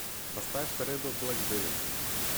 поставь редо блэкберри